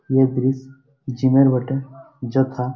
এ দৃশ জিম -এর বটে যথা--